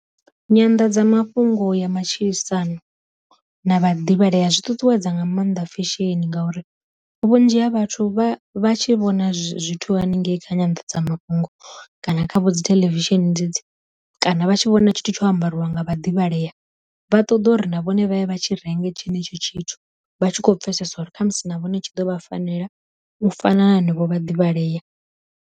Nyanḓadza mafhungo ya matshilisano na vha ḓivhalea zwi ṱuṱuwedza nga maanḓa fesheni ngauri vhunzhi ha vhathu vha vha tshi vhona zwithu haningei kha nyandadza mafhungo kana kha vho dzi theḽevisheni dzedzi kana vha tshi vhona tshithu tsho ambariwa nga vha ḓivhalea vha ṱoḓa uri na vhone vha ye vha tshi renge tshenetsho tshithu vha tshi kho pfesesa uri khamusi na vhone tshi ḓo vha fanela u fana na hanevho vha ḓivhalea.